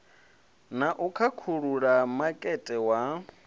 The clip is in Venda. na u khakhulula makete wa